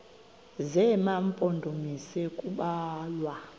zema mpondomise kubalwa